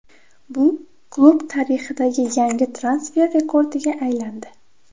Bu klub tarixidagi yangi transfer rekordiga aylandi.